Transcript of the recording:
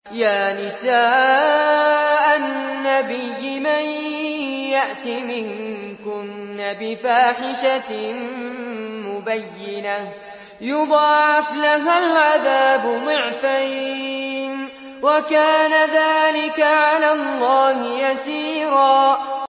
يَا نِسَاءَ النَّبِيِّ مَن يَأْتِ مِنكُنَّ بِفَاحِشَةٍ مُّبَيِّنَةٍ يُضَاعَفْ لَهَا الْعَذَابُ ضِعْفَيْنِ ۚ وَكَانَ ذَٰلِكَ عَلَى اللَّهِ يَسِيرًا